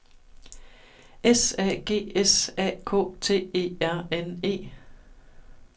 S A G S A K T E R N E